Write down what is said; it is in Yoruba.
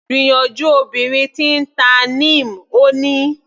Gbìyànjú obìnrin tí ń ta Neem, Ó ní.